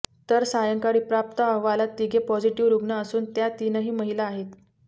तर सायंकाळी प्राप्त अहवालात तिघे पॉझिटीव्ह रुग्ण असून त्या तिनही महिला आहेत